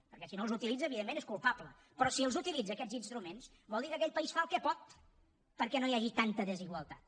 perquè si no els utilitza evidentment és culpable però si els utilitza aquests instruments vol dir que aquell país fa el que pot perquè no hi hagi tanta desigualtat